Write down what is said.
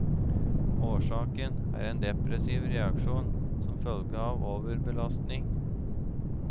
Årsaken er en depressiv reaksjon som følge av overbelastning.